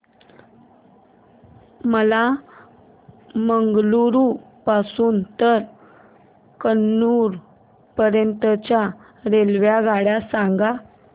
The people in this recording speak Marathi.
मला मंगळुरू पासून तर कन्नूर पर्यंतच्या रेल्वेगाड्या सांगा